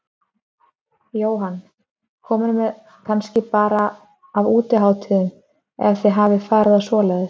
Jóhann: Komin með nóg kannski bara af útihátíðum, ef þið hafið farið á svoleiðis?